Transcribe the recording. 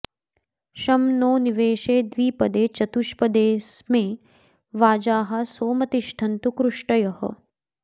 शं नो॑ निवे॒शे द्वि॒पदे॒ चतु॑ष्पदे॒ऽस्मे वाजाः॑ सोम तिष्ठन्तु कृ॒ष्टयः॑